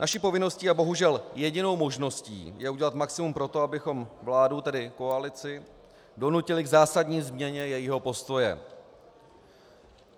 Naší povinností a bohužel jedinou možností je udělat maximum pro to, abychom vládu, tedy koalici, donutili k zásadní změně jejího postoje.